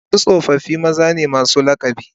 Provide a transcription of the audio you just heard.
Wasu tsofaffi maza ne masu lakabi